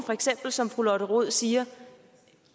som fru lotte rod siger